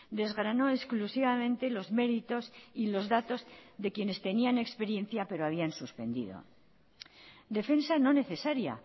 desgranó exclusivamente los méritos y los datos de quienes tenían experiencia pero habían suspendido defensa no necesaria